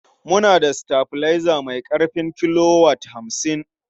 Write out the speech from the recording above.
Muna da sitabilaiza mai ƙarfin kilowat hamsin.